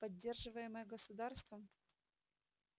поддерживаемое государством